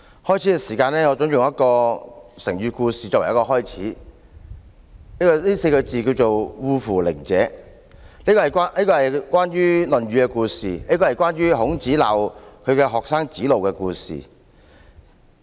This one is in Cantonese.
我準備用一個成語故事作為開始，這個四字成語是"惡夫佞者"，是一個《論語》中關於孔子責罵他的學生子路的故事。